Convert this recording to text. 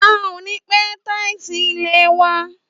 À ò ni pẹ tàísí ìlẹ́ wà